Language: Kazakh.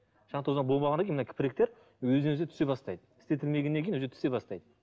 шаң тозаң болмағаннан кейін мына өзінен өзі түсе бастайды істетілмегеннен кейін өзі түсе бастайды